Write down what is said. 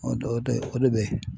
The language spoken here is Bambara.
O de o de o de bɛ ye.